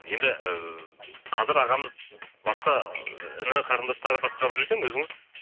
енді і қазір ағамыз басқа іні қарындастары басқарып жүр екен өзіңіз